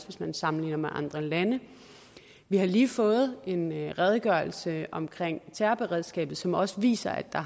hvis man sammenligner med andre lande vi har lige fået en redegørelse om terrorberedskabet som også viser at der